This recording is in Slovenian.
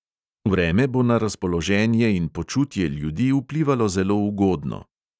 Vreme bo na razpoloženje in počutje ljudi vplivalo zelo ugodno.